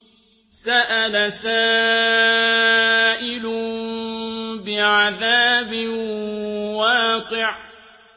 سَأَلَ سَائِلٌ بِعَذَابٍ وَاقِعٍ